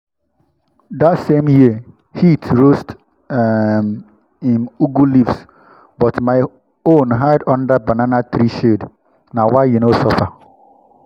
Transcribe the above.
that same year heat roast um him ugu leaves but my own hide under banana tree shade—na why e no suffer.